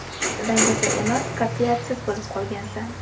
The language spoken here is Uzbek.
Dangasa emas, qatʼiyatsiz bo‘lib qolgansan.